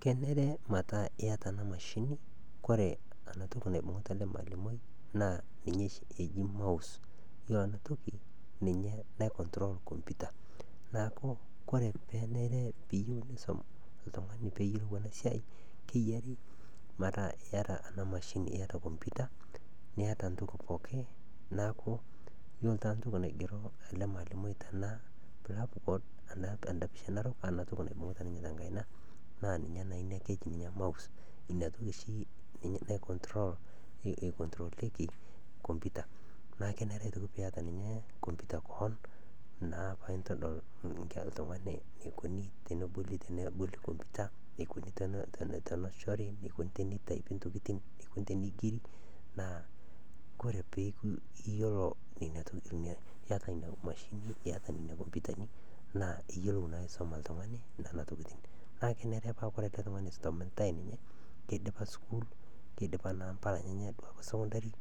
Kenare metaa iyata ana mashing. Kore ana toki naibung'uta ale maalimoi naa ninye shi eji mouse youlo ana toki ninye nai control computer naaku kore piiyuou nisom ltung'ani peeyuolou ana siai keyiari metaa iyata ana mashini iyata computer niyata ntoki pookin naaku kore taata ntoki naigero ale maalimoi tanda blackboard anda picha narok ana toki naibung'uta ninye te nkaina naa ninye naa inia keji ninye mouse inia toki shi nai control computer naaku kenare aitoki niata ninye computer koon paa intodol ltung'ani neikoni tonoboli computer neikoni tonoshori neikoni teneitaipi ntokitin neikoni teneigeri. Naaku kore paaku iyata nia mashini iyata nia computer naaku iyuolou aisoma ltung'ani nenia tokitin. Naa kenare metaa kore ale tung'ani oisomitae ninye naa keidipa sukuul keidipa mpala enyenye e sukundari